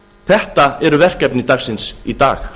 þetta eru verkefni dagsins í dag